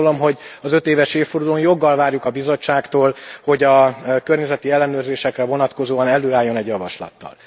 Azt gondolom, hogy az ötéves évfordulón joggal várjuk a Bizottságtól, hogy a környezeti ellenőrzésekre vonatkozóan előálljon egy javaslattal.